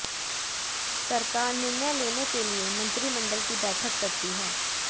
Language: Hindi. सरकार निर्णय लेने के लिए मंत्रिमंडल की बैठक करती है